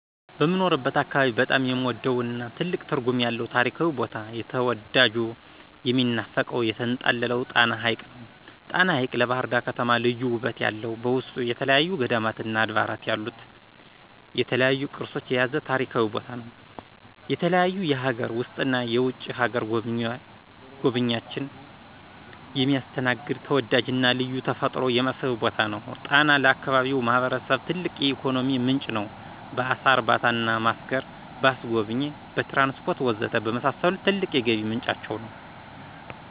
በምኖርበት አካባቢ በጣም የምወደውና ትልቅ ትርጉም ያለው ታሪካዊ ቦታ የተዳጁ፣ የሚናፈቀው፣ የተንጣለለው ጣና ሐቅ ነው። ጣና ሐቅ ለባህርዳር ከተማ ልዩ ውበት ያለው በውስጡ የተለያዩ ገዳማትና አድባራት ያሉት፣ የተለያዩ ቅርሶች የያዘ ታሪካዊ ቦታ ነው። የተለያዩ የሀገር ውስጥና የውጭ ሀገር ጎብኝችን የሚያስተናግድ ተወዳጅና ልዩ ተፈጥሯዊ የመስህብ ቦታ ነው። ጣና ለአካባቢው ማህበረሰብ ትልቅ የኢኮኖሚ ምንጭ ነው። በአሳ እርባታና ማስገር፣ በአስጎብኚ፣ በትራንስፖርት ወዘተ በመሳሰሉት ትልቅ የገቢ ምንጫቸው ነው።